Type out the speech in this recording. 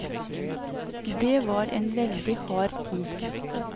Det var en veldig hard tid.